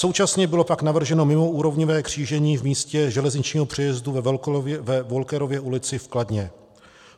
Současně bylo pak navrženo mimoúrovňové křížení v místě železničního přejezdu ve Wolkerově ulici v Kladně.